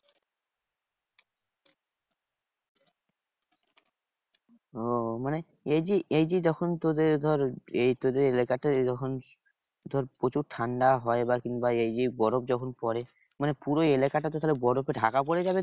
ওহ মানে এইযে এইযে যখন তোদের ধর এই তোদের এলাকায় যখন ধর প্রচুর ঠান্ডা হয় বা কিংবা এই যে বরফ যখন পরে মানে পুরো এলাকাটাতে তাহলে বরফে ঢাকা পরে যাবে কি?